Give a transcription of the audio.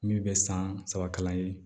Min bɛ san saba kalan ye